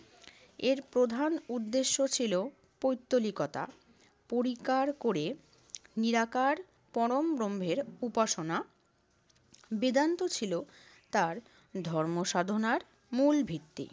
এর প্রধান উদ্দেশ্য ছিল পৌত্তলিকতা পরিকার করে নিরাকার পরম ব্রহ্মের উপাসনা। বেদান্ত ছিল তার ধর্ম সাধনার মূল ভিত্তি।